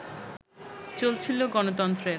চলছিল গণতন্ত্রের